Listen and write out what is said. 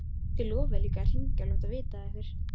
Þið lofuðuð líka að hringja og láta vita af ykkur.